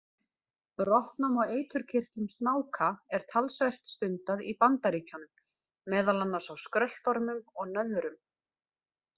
Brottnám á eiturkirtlum snáka er talsvert stundað í Bandaríkjunum, meðal annars á skröltormum og nöðrum.